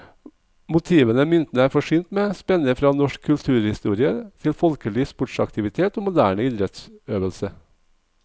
Motivene myntene er forsynt med, spenner fra norsk kulturhistorie til folkelig sportsaktivitet og moderne idrettsøvelse.